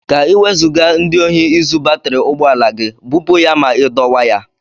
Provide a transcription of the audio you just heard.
Ka Ị wezuga ndị ohi izu batri ụgbọala gị, bupu ya ma ị dọwaa ya.